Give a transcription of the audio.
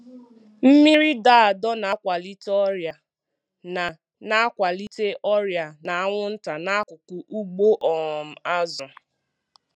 Mmiri dọ adọ na-akwalite ọrịa na na-akwalite ọrịa na anwụnta n'akụkụ ugbo um azụ.